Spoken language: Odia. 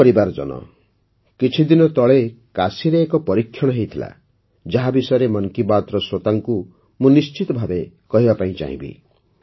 ମୋର ପରିବାରଜନ କିଛିଦିନ ତଳେ କାଶୀରେ ଏକ ପରୀକ୍ଷଣ ହୋଇଥିଲା ଯାହା ବିଷୟରେ ମନ୍ କୀ ବାତ୍ର ଶ୍ରୋତାଙ୍କୁ ମୁଁ ନିଶ୍ଚିତ କହିବାକୁ ଚାହିଁବି